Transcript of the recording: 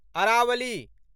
Aravalli